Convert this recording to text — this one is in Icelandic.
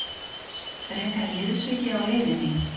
Frekari liðsauki á leiðinni?